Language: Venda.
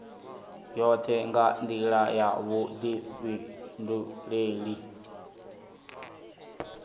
yoṱhe nga nḓila ya vhuḓifhinduleli